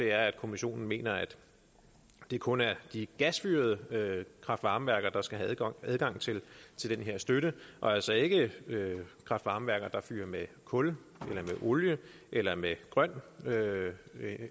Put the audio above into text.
er at kommissionen mener at det kun er de gasfyrede kraft varme værker der skal have adgang til den her støtte og altså ikke kraft varme værker der fyrer med kul eller olie eller med grøn